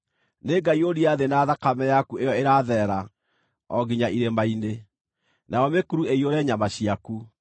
Nĩngaiyũria thĩ na thakame yaku ĩyo ĩratherera o nginya irĩma-inĩ, nayo mĩkuru ĩiyũre nyama ciaku.